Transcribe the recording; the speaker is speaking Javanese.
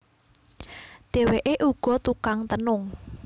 Dheweké uga tukang tenung